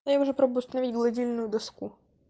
я уже пробую установить гладильную доску